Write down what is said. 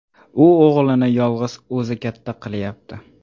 U o‘g‘lini yolg‘iz o‘zi katta qilayapti.